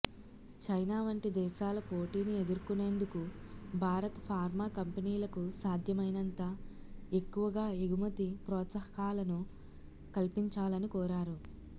China వంటి దేశాల పోటీని ఎదుర్కొనేందుకు భారత ఫార్మా కంపెనీలకు సాధ్యమైనంత ఎక్కువగా ఎగుమతి ప్రోత్సాహకాలను కల్పించాలని కోరారు